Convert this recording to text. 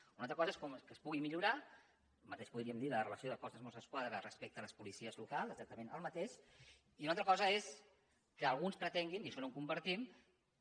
una altra cosa és que es pugui millorar el mateix podríem dir de la relació del cos de mossos d’esquadra respecte a les policies locals exactament el mateix i una altra cosa és que alguns pretenguin i això no ho compartim